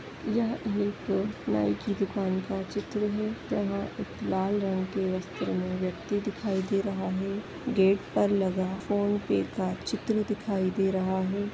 यह एक नाई की दुकान का चित्र है जहाँ एक लाल रंग के वस्त्र में व्यक्ति दिखाई दे रहा है गेट पर लगा फोन पे का चित्र दिखाई दे रहा है।